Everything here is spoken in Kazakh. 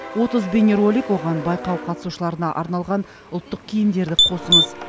отыз бейнеролик оған байқау қатысушыларына арналған ұлттық киімдерді қосыңыз